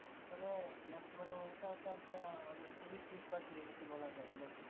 মানে বর্তমানে ওটা তো একটা Tourist Spot হয়ে গেছে বলা যায় নাকি